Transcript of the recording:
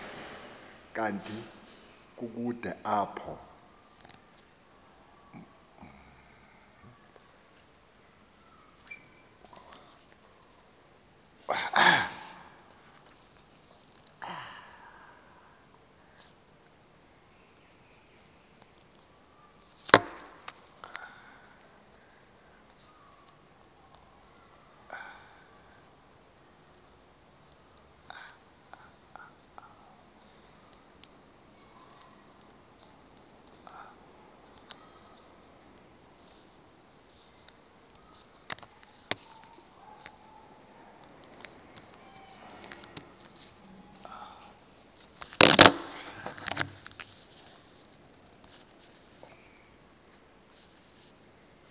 kanti kukude apho